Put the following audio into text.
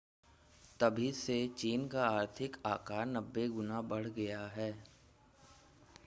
तभी से चीन का आर्थिक आकार 90 गुना बढ़ गया है